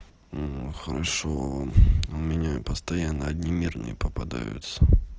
хорошо вам у меня постоянно одни мирные попадаются